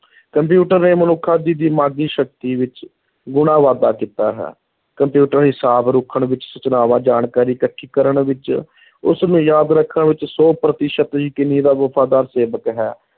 computer ਨੇ ਮਨੁੱਖਾਂ ਦੀ ਦਿਮਾਗੀ ਸ਼ਕਤੀ ਵਿੱਚ ਗੁਣਾ ਵਾਧਾ ਕੀਤਾ ਹੈ, ਕੰਪਿਊਟਰ ਹਿਸਾਬ ਰੱਖਣ ਵਿੱਚ, ਸੂਚਨਾਵਾਂ, ਜਾਣਕਾਰੀ ਇਕੱਠੀ ਕਰਨ ਵਿੱਚ ਉਸ ਨੂੰ ਯਾਦ ਰੱਖਣ ਵਿੱਚ ਸੌ ਪ੍ਰਤੀਸ਼ਤ ਯਕੀਨੀ ਦਾ ਵਫ਼ਾਦਾਰ ਸੇਵਕ ਹੈ,